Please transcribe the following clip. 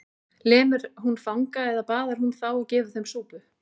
Lemur hún fanga eða baðar hún þá og gefur þeim súpu?